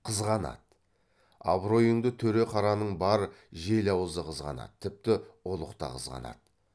қызғанады абыройыңды төре қараның бар жел аузы қызғанады тіпті ұлық та қызғанады